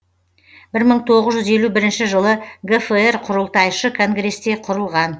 бір мың тоғыз жүз елу бірінші жылы гфр құрылтайшы конгресте құрылған